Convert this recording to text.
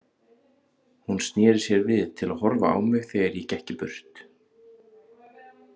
Hún sneri sér við til að horfa á mig þegar ég gekk burt.